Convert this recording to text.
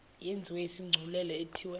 yenziwe isigculelo ithiwe